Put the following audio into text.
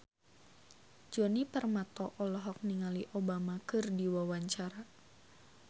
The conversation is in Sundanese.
Djoni Permato olohok ningali Obama keur diwawancara